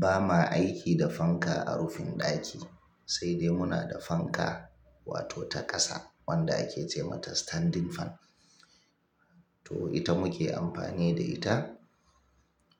Ba ma aiki da fanka a rufin ɗaki, sai dai muna da fanka wato ta ƙasa wanda ake ce mata standing fan. To ita muke amfani da ita